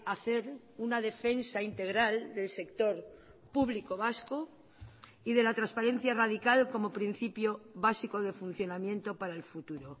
a hacer una defensa integral del sector público vasco y de la transparencia radical como principio básico de funcionamiento para el futuro